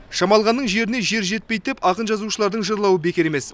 шамалғанның жеріне жер жетпейді деп ақын жазушылардың жырлауы бекер емес